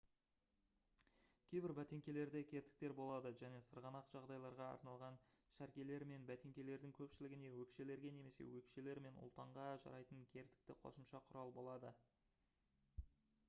кейбір бәтеңкелерде кертіктер болады және сырғанақ жағдайларға арналған шәркелер мен бәтеңкелердің көпшілігіне өкшелерге немесе өкшелер мен ұлтанға жарайтын кертікті қосымша құрал болады